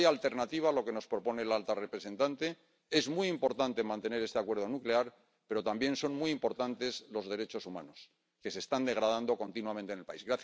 No hay alternativa a lo que nos propone la alta representante. Es muy importante mantener este acuerdo nuclear, pero también son muy importantes los derechos humanos que se están degradando continuamente en el país.